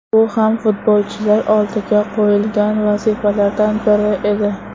Bu ham futbolchilar oldiga qo‘yilgan vazifalardan biri edi.